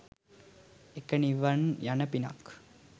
එක නිවන් යන පිනක්